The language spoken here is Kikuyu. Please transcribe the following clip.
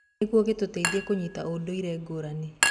Nĩguo, gĩtũteithagia kũnyita ũndũire ngũrani.